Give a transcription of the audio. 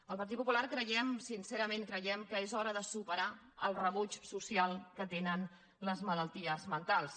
el partit popular creiem sincerament creiem que és hora de superar el rebuig social que tenen les malalties mentals